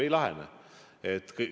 Ei lahene!